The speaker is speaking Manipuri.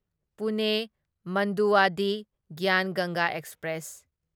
ꯄꯨꯅꯦ ꯃꯟꯗꯨꯋꯥꯗꯤꯍ ꯒ꯭ꯌꯥꯟ ꯒꯪꯒꯥ ꯑꯦꯛꯁꯄ꯭ꯔꯦꯁ